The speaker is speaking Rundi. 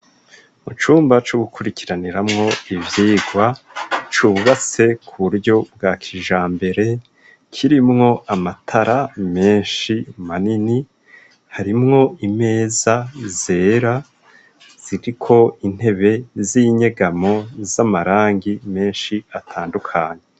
Mu cumba co gukurikiraniramwo ivyirwa c'ububase ku buryo bwa kijambere kirimwo amatara menshi manini, harimwo imeza zera ziriko intebe z'inyegamo z'amarangi menshi atandukane.